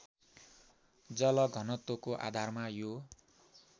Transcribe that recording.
जलघनत्वको आधारमा यो